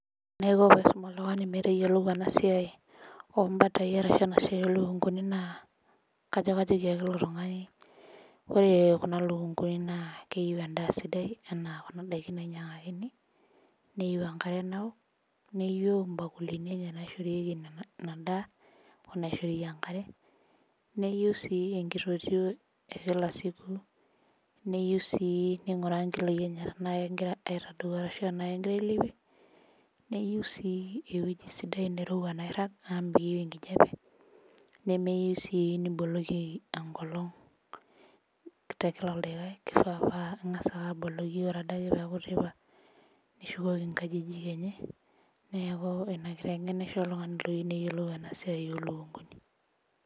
Wore enaiko pee aisum oltungani metayiolo ena siai oombatai ashu enasiai oolukunguni naa kajo kajoki ake ilo tungani, wore kuna lukunguni naa keyieu endaa sidai enaa kuna daikin nainyiangakini, neyiou enkare naok, neyieu imbakulini enye naishorieki ina daa, onaishorieki enkare, neyieu sii enkitotio ekila siku, neyiou sii ninguraa inkiloi enye tenaa kekira aitadou arashu enaa kekira ailepie, neyiou sii ewoji sidai nairag amu meyieu enkijape, nemeyiou sii niboloki enkolong' tekila daikai, kifaa paa ingas ake aboloki paa wore adake pee eaku teipa nishukoki inkajijik enye. Neeku ina kitengena aisho oltungani loyieu neyiolou ena siai oolukunguni.